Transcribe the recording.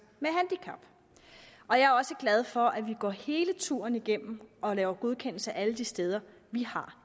med handicap og jeg er også glad for at vi går hele turen igennem og laver godkendelse af alle de steder vi har